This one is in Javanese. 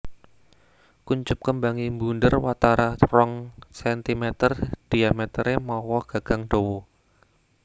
Kuncup kembange mbunder watara rong cm diametere mawa gagang dawa